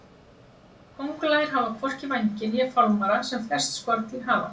Kóngulær hafa hvorki vængi né fálmara sem flest skordýr hafa.